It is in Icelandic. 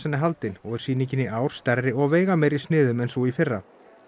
er haldin og er sýningin í ár mun stærri og veigameiri í sniðum en sú í fyrra